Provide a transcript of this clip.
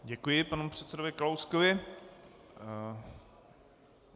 Děkuji panu předsedovi Kalouskovi.